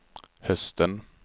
hösten